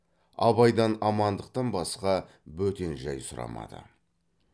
абайдан амандықтан басқа бөтен жай сұрамады